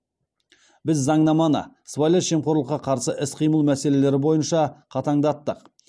біз заңнаманы сыбайлас жемқорлыққа қарсы іс қимыл мәселелері бойынша қатаңдаттық